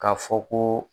K'a fɔ ko